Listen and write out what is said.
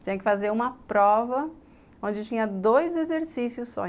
Tinha que fazer uma prova, onde tinha dois exercícios só.